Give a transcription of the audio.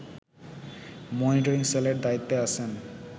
monitoring সেলের দায়িত্বে আছেন